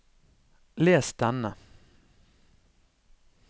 les denne